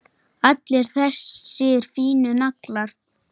Allir þessir fínu naglar!